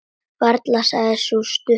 Varla, sagði sú stutta.